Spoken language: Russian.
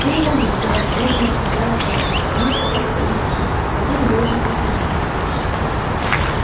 ты не можешь сказать медленно повторяла кэлвин потому что это обидит их а ты не должен их обидеть